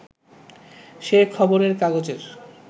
সে খবরের কাগজের